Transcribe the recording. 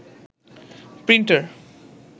printer